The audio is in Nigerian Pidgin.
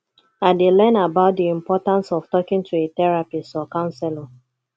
i dey learn about dey importance of talking to a therapist or counselor